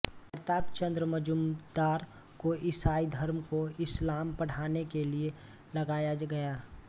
प्रताप चंद्र मजूमदार को ईसाई धर्म को इस्लाम पढ़ाने के लिए लगाया गया